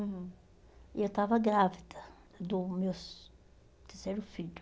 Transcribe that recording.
Uhum. E eu estava grávida do meu terceiro filho.